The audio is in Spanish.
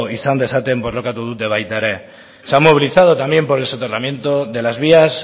izan dezaten borrokatu dute baita ere se han movilizado también por el soterramiento de las vías